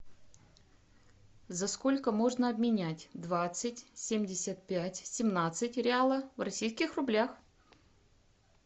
за сколько можно обменять двадцать семьдесят пять семнадцать реала в российских рублях